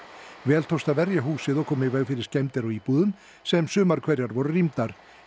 vel tókst að verja húsið og koma í veg fyrir skemmdir á íbúðum sem sumar hverjar voru rýmdar